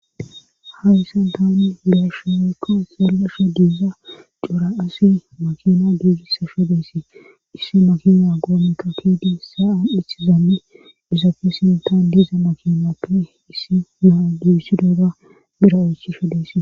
Hayyssan taani gesha weekka xellasha diiza cura asi makina giigisa shadeysi issi makina goomeka kidi sa'a ithizaammi dizappe sintan diiza makinappe issi naa giissidooga bira oychishadesi.